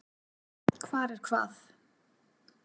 Hvar er hvað?